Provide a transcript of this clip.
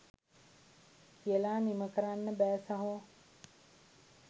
කියලා නිම කරන්න බෑ සහෝ.